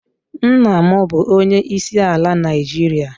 Nna m bụ onyeisi ala Naịjiria